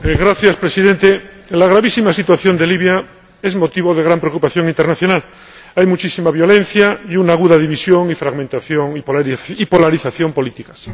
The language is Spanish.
Señor Presidente, la gravísima situación de Libia es motivo de gran preocupación internacional hay muchísima violencia y una aguda división, fragmentación y polarización políticas.